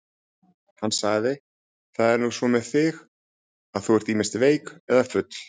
Hann sagði: Það er nú svo með þig, að þú ert ýmist veik eða full.